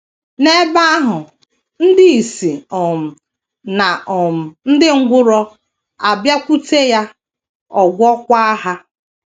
N’ebe ahụ, ndị ìsì um na um ndị ngwụrọ abịakwute ya, ọ gwọọkwa ha.